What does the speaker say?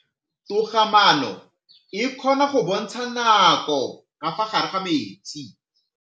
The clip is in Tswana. Toga-maanô e, e kgona go bontsha nakô ka fa gare ga metsi.